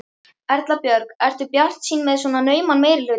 Erla Björg: Ertu bjartsýnn með svona nauman meirihluta?